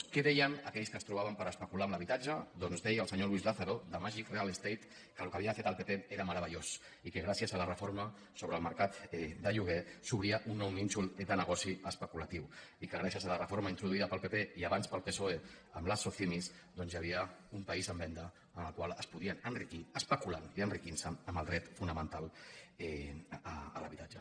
què deien aquells que es trobaven per especular amb l’habitatge doncs deia el senyor luis lázaro de magic real estate que el que havia fet el pp era meravellós i que gràcies a la reforma sobre el mercat de lloguer s’obria un nou nínxol de negoci especulatiu i que gràcies a la reforma introduïda pel pp i abans pel psoe amb les socimi doncs hi havia un país en venda en el qual es podien enriquir especulant i enriquint se amb el dret fonamental a l’habitatge